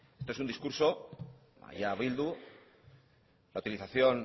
esto es un discurso y a bildu la utilización